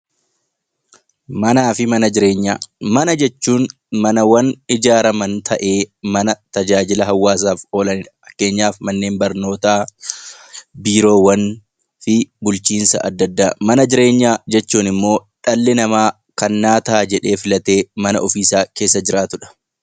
Mana jechuun manawwan ijarraman ta'ee mana tajaajila hawaasaaf oolanidha. Fakkeenyaaf mana barumsaa, biiroowwan adda addaa fi bulchiinsota garagaraati. Mana jireenya jechuun immoo kan dhalli namaa naaf ta'a jedhee filatee keessa jiraatudha.